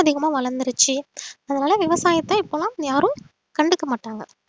ரொம்ப அதிகமா வளர்ந்திருச்சு அதனால விவசாயத்தை இப்ப எல்லாம் யாரும் கண்டுக்க மாட்டாங்க